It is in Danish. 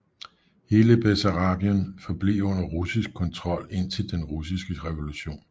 Hele Bessarabien forblev under russisk kontrol indtil den russiske revolution